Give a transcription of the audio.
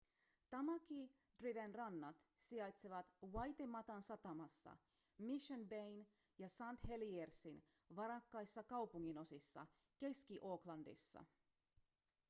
tamaki driven rannat sijaitsevat waitematan satamassa mission bayn ja st heliersin varakkaissa kaupunginosissa keski-aucklandissa